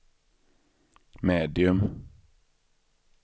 medium